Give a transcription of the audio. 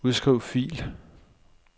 Udskriv fil.